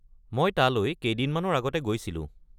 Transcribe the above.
মই তালৈ কেইদিনমানৰ আগতে গৈছিলোঁ।